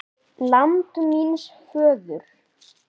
LAND MÍNS FÖÐUR